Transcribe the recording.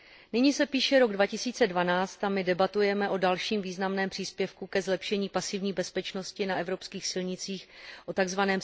Nyní se píše rok 2012 a my debatujeme o dalším významném příspěvku ke zlepšení pasivní bezpečnosti na evropských silnicích, o tzv.